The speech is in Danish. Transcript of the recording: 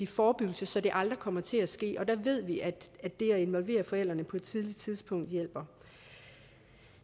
forebyggelse så det aldrig kommer til at ske og der ved vi at det at involvere forældrene på et tidligt tidspunkt hjælper